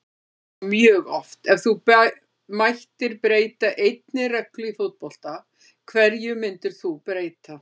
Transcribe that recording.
Já mjög oft Ef þú mættir breyta einni reglu í fótbolta, hverju myndir þú breyta?